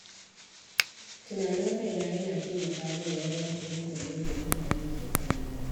Tunanin kaina yana taimaka min wajen fahimtar yadda mutane ke kallona.